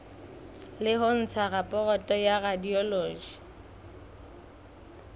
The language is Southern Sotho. ho ntsha raporoto ya radiology